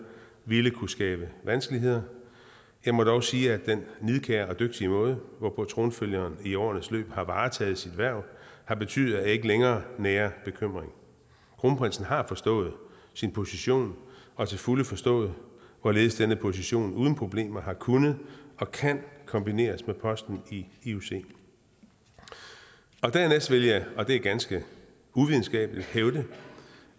ville kunne skabe vanskeligheder jeg må dog sige at den nidkære og dygtige måde hvorpå tronfølgeren i årenes løb har varetaget sit hverv har betydet at jeg ikke længere nærer bekymring kronprinsen har forstået sin position og til fulde forstået hvorledes denne position uden problemer har kunnet og kan kombineres med posten i ioc dernæst vil jeg og det er ganske uvidenskabeligt hævde